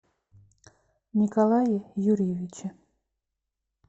николае юрьевиче